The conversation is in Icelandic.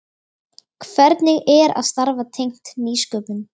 Hvernig er að starfa tengt nýsköpun?